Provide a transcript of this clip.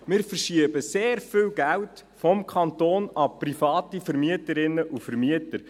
Wir verschieben sehr viel Geld vom Kanton an private Vermieterinnen und Vermieter.